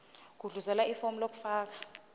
gudluzela ifomu lokufaka